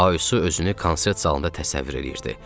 Aysu özünü konsert zalında təsəvvür eləyirdi.